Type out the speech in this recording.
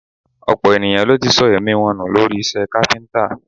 Ọ̀pọ̀ ènìyàn ló ti sọ èmí wọn nù lórí iṣẹ́ káfíńtà